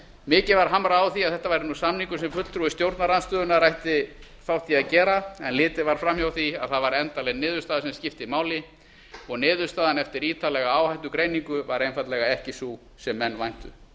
mikið var hamrað á því að þetta væri samningur sem fulltrúi stjórnarandstöðunnar ætti þátt í að gera en litið var fram hjá því að það var endanleg niðurstaða sem skipti máli og niðurstaðan eftir ítarlega áhættugreiningu var einfaldlega ekki sú sem menn væntu